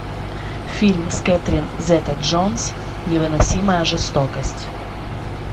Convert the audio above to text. фильм с кэтрин зета джонс невыносимая жестокость